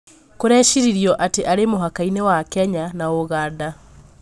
Kũrecirĩrio atĩ arĩ mũhaka-inĩ wa Kenya na Uganda